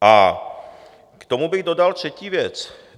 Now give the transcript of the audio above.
A k tomu bych dodal třetí věc.